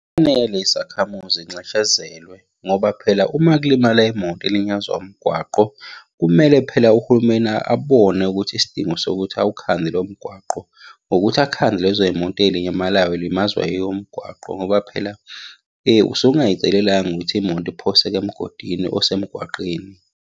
Kufanele izakhamuzi iy'nxeshezelwe ngoba phela uma kulimala imoto ilinyazwa umgwaqo, kumele phela uhulumeni abone ukuthi isidingo sokuthi awukhande lowo mgwaqo ngokuthi akhande lezo y'moto ey'limalayo iy'limazwa yiwo umgwaqo ngoba phela usuke ungay'celelanga ukuthi imoto iphoseke emgodini osemgwaqeni.